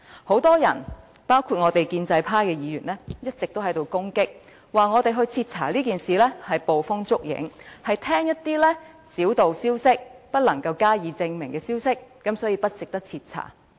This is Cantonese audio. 很多人包括建制派議員一直都在攻擊，指要求徹查此事是捕風捉影，只是聽信一些小道消息、不能證實的消息，所以不值得徹查。